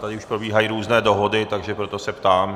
Tady už probíhají různé dohody, takže proto se ptám.